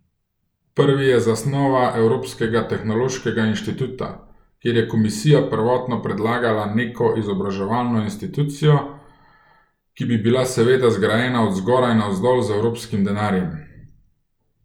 Prvi je zasnova Evropskega tehnološkega inštituta, kjer je komisija prvotno predlagala neko izobraževalno inštitucijo, ki bi bila seveda zgrajena od zgoraj navzdol z evropskim denarjem.